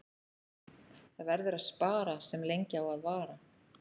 Það verður að spara sem lengi á að vara.